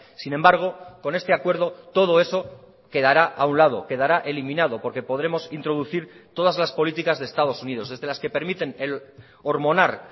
sin embargo con este acuerdo todo eso quedará a un lado quedará eliminado porque podremos introducir todas las políticas de estados unidos desde las que permiten el hormonar